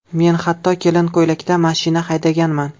Men hatto kelin ko‘ylakda mashina haydaganman.